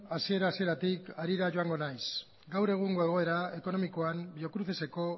hasiera hasieratik harira joango naiz gaur egungo egoera ekonomikoan biocruceseko